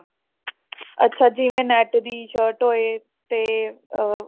ਅੱਛਾ ਜਿਵੇਂ ਨੈਟ ਦੀ shirt ਹੋਏ ਤੇ ਉਹ